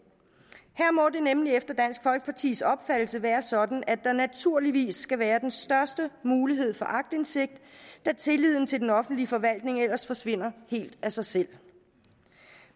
her må det nemlig efter dansk folkepartis opfattelse være sådan at der naturligvis skal være den største mulighed for aktindsigt da tilliden til den offentlige forvaltning ellers forsvinder helt af sig selv